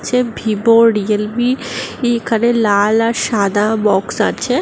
Safe Vivo Realme এখানে লাল আর সাদা বক্স আছে।